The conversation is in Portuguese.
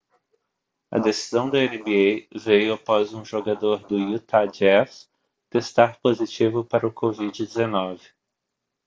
a decisão da nba veio após um jogador do utah jazz testar positivo para o covid-19